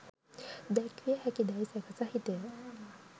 දැක්විය හැකිදැයි සැක සහිතය.